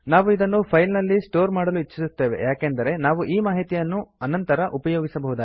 ನಾವು ಇದನ್ನು ಫೈಲ್ ನಲ್ಲಿ ಸ್ಟೋರ್ ಮಾಡಲು ಇಚ್ಚಿಸುತ್ತೇವೆ ಯಾಕಂದರೆ ನಾವು ಈ ಮಾಹಿತಿ ಅನ್ನು ನಂತರ ಉಪಯೋಗಿಸಬಹುದಾಗಿದೆ